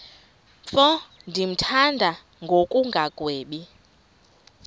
mfo ndimthanda ngokungagwebi